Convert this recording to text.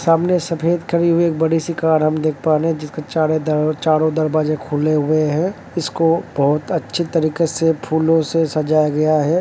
सामने सफ़ेद खड़ी हुई एक बड़ी सी कार हम देख पा रहे है। जिसके चारो दर चारो दरवजा खुले हुए हैं। इसको बहोत अच्छी तरीके से फूलो से सजाया गया है।